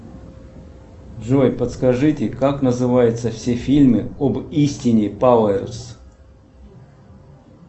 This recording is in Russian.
джой подскажите как называется все фильмы об истине пауэрс